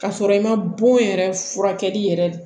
K'a sɔrɔ i ma bon yɛrɛ furakɛli yɛrɛ